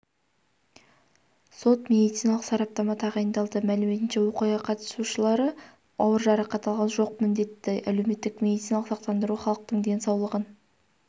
сот-медициналық сараптама тағайындалды мәліметінше оқиға қатысушылары ауыр жарақат алған жоқ міндетті әлеуметтік медициналық сақтандыру халықтың денсаулығын